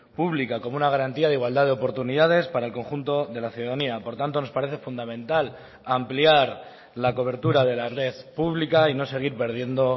pública como una garantía de igualdad de oportunidades para el conjunto de la ciudadanía por tanto nos parece fundamental ampliar la cobertura de la red pública y no seguir perdiendo